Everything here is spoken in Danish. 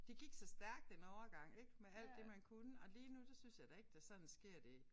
Det gik så stærkt en overgang ik med alt det man kunne og lige nu der synes jeg da ikke der sådan sker det